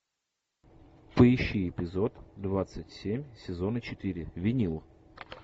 поищи эпизод двадцать семь сезона четыре винил